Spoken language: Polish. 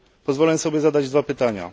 Pozwolę sobie zadać dwa pytania.